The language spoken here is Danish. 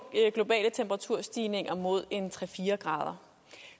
globale temperaturstigninger mod tre fire grader